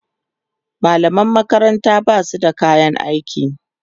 mallaman makaranta Basu da kayan aiki